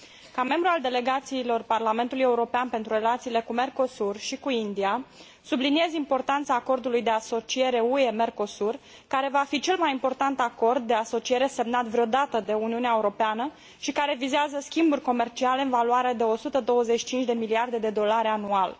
Ca membru al delegațiilor Parlamentului European pentru relațiile cu Mercosur și cu India, subliniez importanța acordului de asociere UE Mercosur, care va fi cel mai important acord de asociere semnat vreodată de Uniunea Europeană, și care vizează schimburi comerciale în valoare de 125 de miliarde de dolari anual.